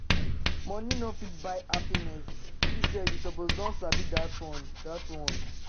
Money no fit buy happiness, you sef suppose don sabi dat one. dat one.